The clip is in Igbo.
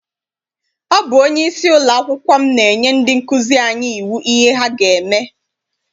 Ọ bụ onyeisi ụlọakwụkwọ m na-enye ndị nkụzi anyi iwu ihe ha ga-eme.